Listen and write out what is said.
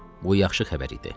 Bu yaxşı xəbər idi.